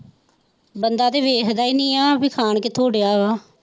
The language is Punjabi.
ਬੰਦੇ ਤੇ ਵੇਖਦਾ ਹੀ ਨਹੀਂ ਹੈ ਖਾਣ ਕਿੱਥੋਂ ਡਯਾ ਵਾ।